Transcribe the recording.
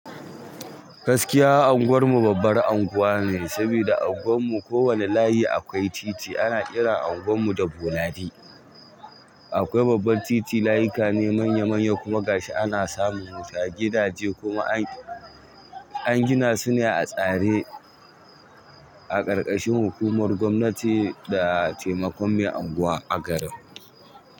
Gaskiya anguwar mu babbar anguwa ne, sabida a anguwar mu kowane layi akwai titi. Ana ƙira anguwar mu da Boladi. Akwai babbar titi, layuka ne manya-manya kuma gashi ana samun su a gidaje kuma an gina su ne a tsare a ƙarƙashin hukumar gwamnati da taimakon mai anguwa a garin.